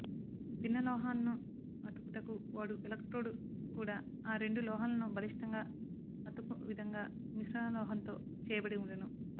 భిన్న లోహాలను అతుకుటకు వాడు ఎలక్ట్రోడు కూడా ఆ రెండు లోహాలను బలిష్టంగా అతుకు విధంగా మిశ్రమలోహంతో చేయబడివుండును